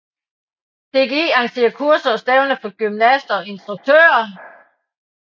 DGI arrangerer kurser og stævner for gymnaster og instruktører